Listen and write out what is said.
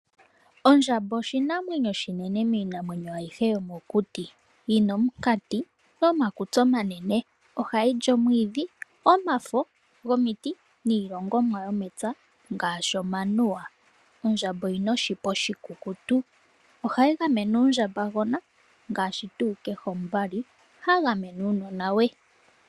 Ondjamba oshinamwenyo oshinene miinamwenyo ayihe yomokuti yi na omukati nomakutsi omanene ohayi li omwiidhi, omafo gomiti niilongomwa yomepya ngaashi omanuwa. Ondjamba oyi na oshipa oshikukutu, ohayi gamene uundjambagona ngaashi tuu kehe omuvali ha gamene uunona we.